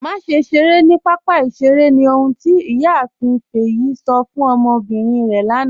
Màṣẹ ṣeré ni papa ìṣẹ̀rè ni ọ̀hun tí Iyààfin Feyin sọ̀ fún ọmọbírín rẹ lànà.